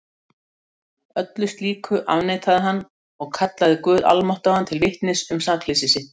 Öllu slíku afneitaði hann og kallaði guð almáttugan til vitnis um sakleysi sitt.